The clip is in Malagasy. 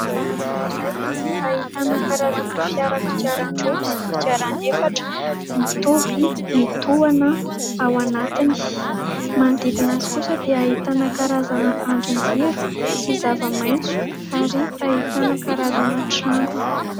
Lalana iray ahitana karazana fiara kodiaran-droa sy kodiaran'efatra mitoby mitohana ao anatiny. Manodidina azy kosa dia ahitana karazana andrinjiro sy zavamaitso ary ahitana karazana trano.